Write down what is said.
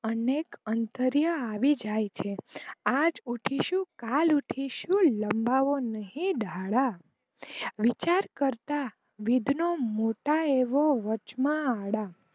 અનેક અંતર્ય આવી જ છે, આજ ઊઠીશું, કાલ ઊઠીશું, લંબાવો નહીં દાડા, વિચાર કરતા વિદ્યના મોટા એવો વચ માં આડા